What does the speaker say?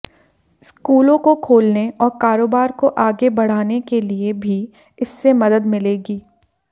स्कूलों को खोलने और कारोबार को आगे बढ़ाने के लिए भी इससे मदद मिलेगी